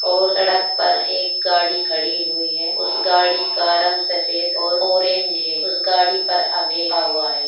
ओर सड़क पर एक गाड़ी खड़ी हुई है उस गाड़ी का रंग सफेद ओर ऑरेंज हे । उस गाड़ी पर अभे ईखा हुआ हे ।